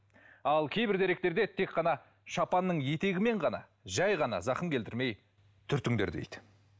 ал кейбір деректерде тек қана шапанның етегімен ғана жай ғана зақым келтірмей түртіңдер дейді